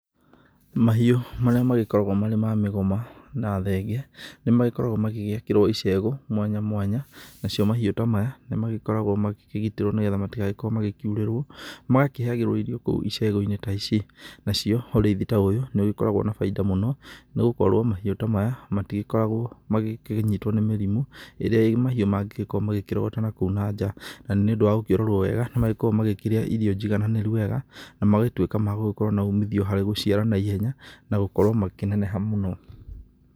Mahiũ marĩa magĩkoragwo marĩ ma mĩgoma na thenge nĩmagĩkoragwo magĩgĩakĩrwo icegũ mwanya mwanya. Nacio mahiũ ta maya nĩmagĩkoragwo magĩkĩgitĩrwo nĩgetha matigagĩkorwo magĩkiurĩrwo. Magakĩheagĩrwo irio kũu icegũ-inĩ ta ici. Nacio ũrĩithi ta ũyũ nĩũgĩkoragwo na baida mũno nĩgũkorwo mahiũ ta maya matigĩkoragwo magĩkĩnyitwo nĩ mĩrimũ ĩrĩa mahiũ mangĩgĩkorwo makĩrogota nakũu na nja. Na nĩũndũ wa gũkĩrorwo wega nĩmagĩkoragwo makĩrĩa irio njigananĩru wega na magatuĩka ma gũgĩkorwo na uumithio harĩ gũciara naihenya na gũkorwo makĩneneha mũno.